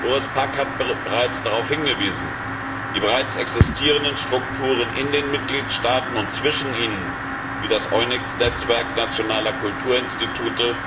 Doris Pack hat bereits darauf hingewiesen Die bereits existierenden Strukturen in den Mitgliedstaaten und zwischen ihnen wie das EUNIC Netzwerk nationaler Kulturinstitute